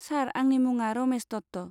सार, आंनि मुङा रमेस दत्त।